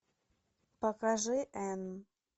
покажи энн